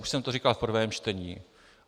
Už jsem to říkal v prvém čtení.